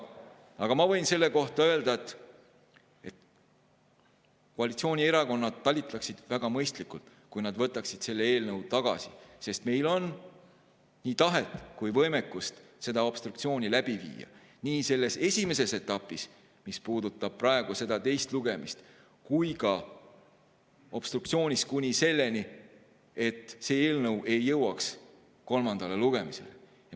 Aga ma võin selle kohta öelda, et koalitsioonierakonnad talitaksid väga mõistlikult, kui nad võtaksid selle eelnõu tagasi, sest meil on nii tahet kui ka võimekust seda obstruktsiooni läbi viia – nii selles esimeses etapis, mis puudutab praegu seda teist lugemist, kui ka obstruktsioonis kuni selleni, et see eelnõu ei jõua kolmandale lugemisele.